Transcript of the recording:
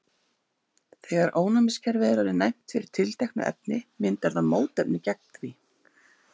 þegar ónæmiskerfið er orðið næmt fyrir tilteknu efni myndar það mótefni gegn því